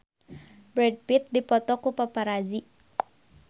Brad Pitt dipoto ku paparazi